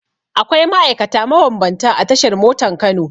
Akwai ma'aikata mabambanta a tashar motan Kano.